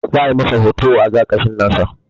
Za a masa hoto a ga ƙashin nashi